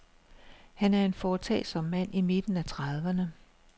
Han er en foretagsom mand i midten af trediverne.